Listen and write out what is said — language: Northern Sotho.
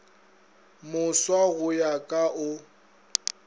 moswa go ya ka o